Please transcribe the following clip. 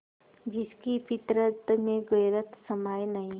जिसकी फितरत में गैरत समाई नहीं